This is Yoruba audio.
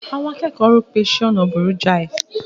Àwọn akẹ́kọ̀ọ́ rò pé iṣẹ́ ọnà burú jáì.